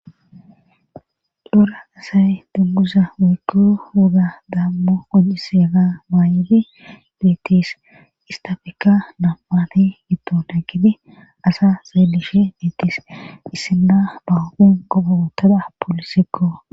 Dora asay dummusa woykku wuga daammo gojiseega maaydi dtis istafekka nampati gitton haggidi asa zeelishe beetis issinna bahoogen gogowotoda poolisekko.